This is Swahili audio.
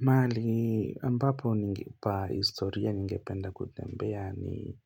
Mahali ambapo ni pa historia ningependa kutembea ni